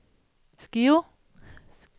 Skive